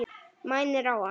Mænir á hann.